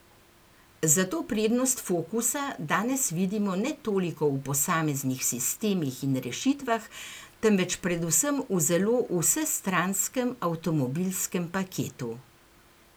Zato prednost focusa danes vidimo ne toliko v posameznih sistemih in rešitvah, temveč predvsem v zelo vsestranskem avtomobilskem paketu.